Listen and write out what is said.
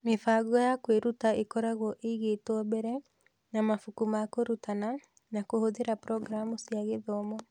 Mĩbango ya kwĩruta ĩkoragwo ĩigĩtwo mbere, na mabuku ma kũrutana, na kũhũthĩra programu cia gĩthomo.